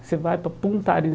Você vai para Punta Arenas.